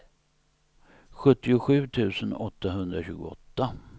sjuttiosju tusen åttahundratjugoåtta